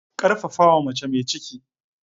Karfafawa mace mai ciki.